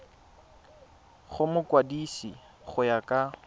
go mokwadise go ya ka